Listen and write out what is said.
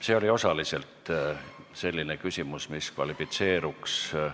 See oli osaliselt selline küsimus, mis kvalifitseeruks protseduuriliseks.